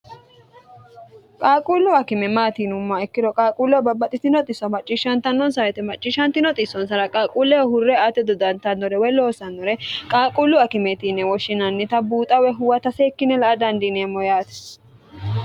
qaaquullu akime maatii yinumma ikkiro qaaquulleho babbaxitino xisso macciishshantannonsa woyte macciishantino xissonsara qaaquulleho hurre ate dodantannore woy loosannore qaaquullu akimeeti yine woshshinannita buuxa woyi huwata seekkine la'a dandineemmo yaate